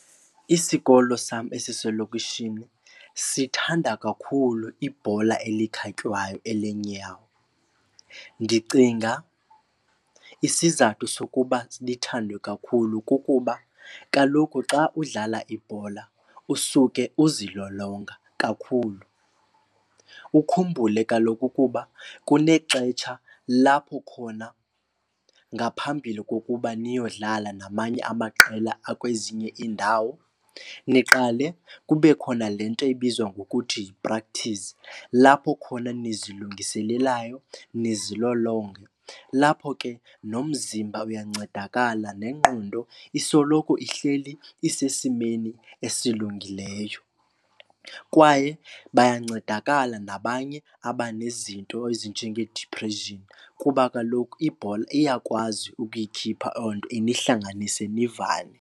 Isikolo sam esiselokishini sithanda kakhulu ibhola elikhatywayo elenyawo. Ndicinga isizathu sokuba lithandwe kakhulu kukuba kaloku xa udlala ibhola usuke uzilolonga kakhulu. Ukhumbule kaloku ukuba kunexetsha lapho khona ngaphambili kokuba niyodlala namanye amaqela akwezinye iindawo niqale kube khona le nto ibizwa ngokuthi yi-practice lapho khona nizilungiselelayo ndizilolonge. Lapho ke nomzimba uyancedakala nengqondo isoloko ihleli isesimeni esilungileyo. Kwaye bayancedakala nabanye abanezinto ezinjengedipreshini kuba kaloku ibhola iyakwazi ukuyikhipha onto inihlanganise nivane.